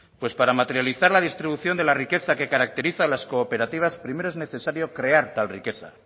pues para materializar la distribución de la riqueza que caracteriza a las cooperativas primero es necesario crear tal riqueza